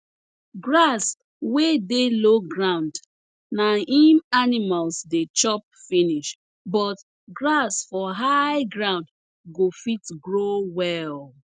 grass wey dey low ground na im animals dey chop finish but grass for high ground go fit grow well